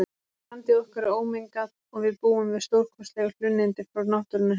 Landið okkar er ómengað og við búum við stórkostleg hlunnindi frá náttúrunnar hendi.